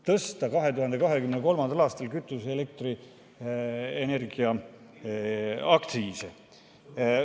Tõsta 2023. aastal kütuse‑ ja elektriaktsiisi!